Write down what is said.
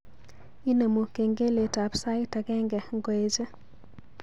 Inemu kengeletab sait agenge ngoeche